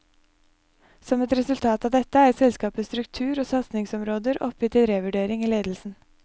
Som et resultat av dette er selskapets struktur og satsingsområder oppe til revurdering i ledelsen.